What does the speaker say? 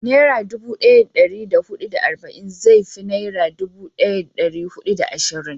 Nera dubu daya da dari hudu da arba'in zai fi naira dubu daya da dari hudu da ashirin